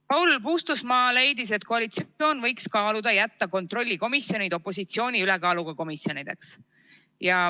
Paul Puustusmaa leidis, et koalitsioon võiks kaaluda jätta kontrollikomisjonid opositsiooni ülekaaluga komisjonideks.